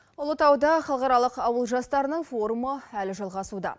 ұлытауда халықаралық ауыл жастарының форумы әлі жалғасуда